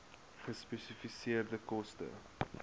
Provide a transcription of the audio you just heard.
gespesifiseerde koste